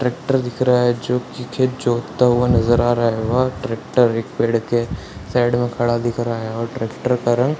tractor दिख रहा है जो कि खेत जोतता हुआ नजर आ रहा है वह ट्रैक्टर एक पेड़ के साइड में खड़ा दिख रहा है और ट्रैक्टर का रंग --